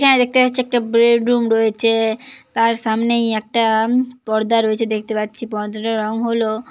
এখানে দেখতে পাচ্ছি একটা ব্রেডরুম রয়েছে-এ তার সামনেই ম একটা পর্দা রয়েছে দেখতে পাচ্ছি । পর্দাটার রং হলো--